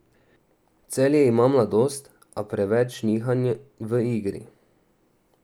Celje ima mladost, a preveč nihanj v igri.